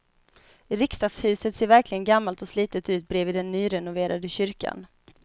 Riksdagshuset ser verkligen gammalt och slitet ut bredvid den nyrenoverade kyrkan.